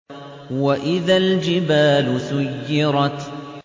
وَإِذَا الْجِبَالُ سُيِّرَتْ